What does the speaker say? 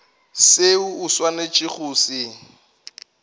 seo o swanetšego go se